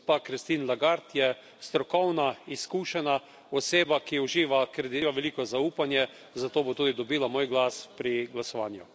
Gospa Christine Lagarde je strokovna, izkušena oseba, ki uživa veliko zaupanje, zato bo tudi dobila moj glas pri glasovanju.